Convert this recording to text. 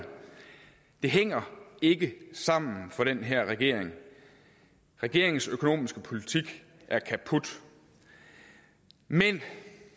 det hænger ikke sammen for den her regering regeringens økonomiske politik er kaput men